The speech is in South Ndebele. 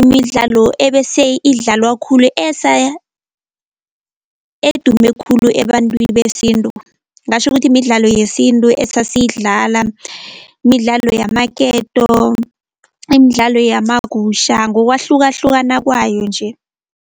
imidlalo ebese idlalwa khulu edume khulu ebantwini besintu. Ngatjho ukuthi midlalo yesintu esasiyidlala, midlalo yamaketo, imidlalo yamagusha, ngokwahlukahlukana kwayo nje.